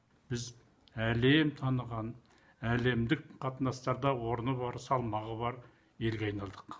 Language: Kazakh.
біз әлем таныған әлемдік қатынастарда орны бар салмағы бар елге айналдық